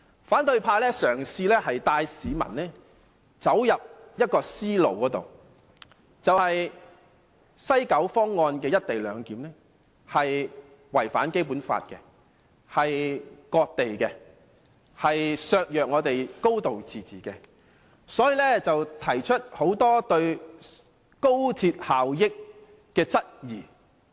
反對派嘗試帶市民走進一種思路，視西九方案的"一地兩檢"違反《基本法》，等同割地，削弱我們的"高度自治"，反對派因此提出很多對高鐵效益的質疑。